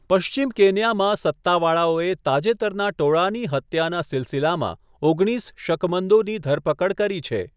પશ્ચિમ કેન્યામાં સત્તાવાળાઓએ તાજેતરના ટોળાની હત્યાના સિલસિલામાં ઓગણીસ શકમંદોની ધરપકડ કરી છે.